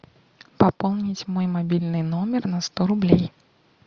пополнить мой мобильный номер на сто рублей